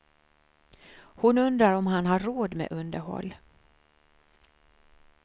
Hon undrar om han har råd med underhåll.